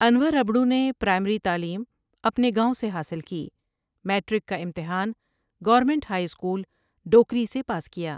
انور ابڑو نے پرائمری تعليم اپنے گاؤں سے حاصل کی میٹرک کا امتحان گورنمنٹ ہائی اسکول ڈوکری سے پاس کیا ۔